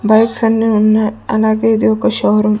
Bikes అన్నీ ఉన్నాయ్ అలాగే ఇది ఒక షో రూం .